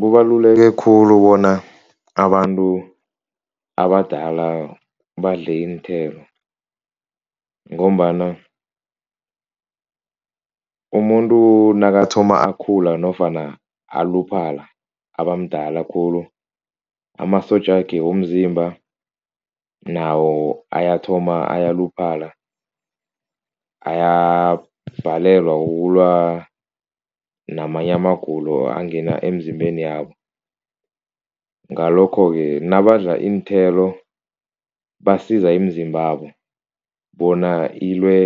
Kubaluleke khulu bona abantu abadala badle iinthelo ngombana umuntu nakathoma akhula nofana aluphala, abamdala khulu amasotja wakhe womzimba nawo ayathoma ayaluphala, ayabhalelwa ukulwa namanye amagulo angena emzimbeni yabo, ngalokho-ke nabadla iinthelo basiza imizimbabo bona ilwe